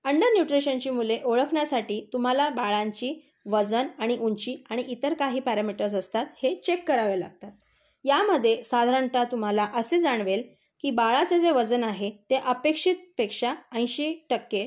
Under न्यूट्रिशनची मुले ओळखण्यासाठी तुम्हाला बलांची वजन आणि ऊंची आणि इतर काही पॅरामीटर्स असतात ते चेक करावे लागतात. यामध्ये साधारणतः तुम्हाला असे जाणवेल की बाळाचे जे वजन आहे, ते अपेक्षेपेक्षा ऐशी टक्के,